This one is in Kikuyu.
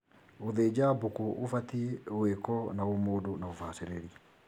Gũthĩnja mbũkũ gũbatie gwĩkwo na ũmũndũ na ubacĩrĩri